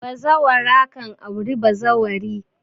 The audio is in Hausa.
Bazawara kan aure bazawari